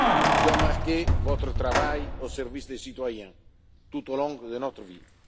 cohérence qui ont marqué votre travail au service des citoyens tout au long de votre